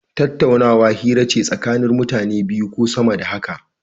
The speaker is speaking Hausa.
Tattaunawa, hira ce tsakanin mutane biyu ko sama da haka.